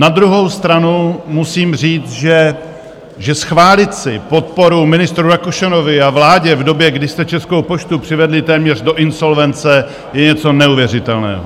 Na druhou stranu musím říct, že schválit si podporu ministru Rakušanovi a vládě v době, kdy jste Českou poštu přivedli téměř do insolvence, je něco neuvěřitelného!